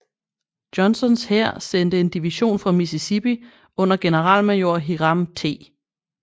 Johnstons hær sendte en division fra Mississippi under generalmajor Hiram T